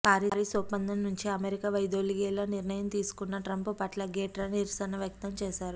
Paris ఒప్పందం నుంచి America వైదొలిగేలా నిర్ణయం తీసుకున్న ట్రంప్ పట్ల గ్రెటా నిరసన వ్యక్తం చేశారు